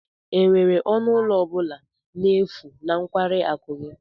Enwere ọnụ ụlọ ọ bụla n'efu na nkwari akụ gị?